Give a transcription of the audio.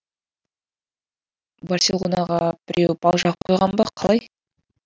барселонаға біреу бал жағып қойған ба қалай